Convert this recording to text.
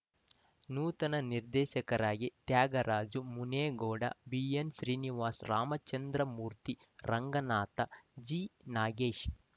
ನೂತನ ನಿರ್ದೇಶಕರಾಗಿ ತ್ಯಾಗರಾಜು ಮುನೇಗೌಡ ಬಿಎನ್ಶ್ರೀನಿವಾಸ್ ರಾಮಚಂದ್ರಮೂರ್ತಿ ರಂಗನಾಥ್ ಜಿನಾಗೇಶ್